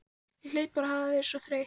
Ég hlaut bara að hafa verið svona þreytt.